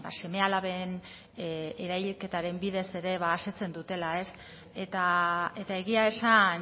seme alaben erailketaren bidez ere asetzen dutela eta egia esan